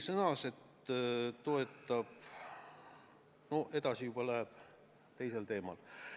" Edasi läheb jutt teisele teemale.